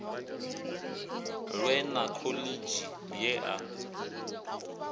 lwe na khoḽidzhi ye a